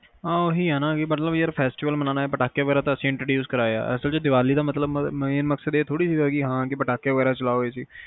ਹਮ ਓਹੀ ਆ ਮਤਲਬ festival ਮਨੋਉਣ, ਤੇ ਪਟਾਕੇ ਵਗੈਰਾ ਤਾ ਅਸੀਂ introduce ਕਰਵਾਇਆ ਆ ਅਸਲ ਤਾ ਦੀਵਾਲੀ ਦਾ ਮਤਲਬ main ਮਕਸਦ ਇਹ ਤਾ ਨੀ ਸੀ ਕ ਪਟਾਕੇ ਵਗੈਰਾ ਚਲਾਓ